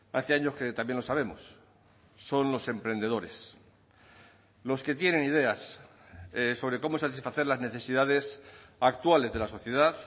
hace años que también lo sabemos son los emprendedores los que tienen ideas sobre cómo satisfacer las necesidades actuales de la sociedad